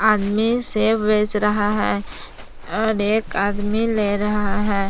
Save बेच रहा है और एक आदमी ले रहा है।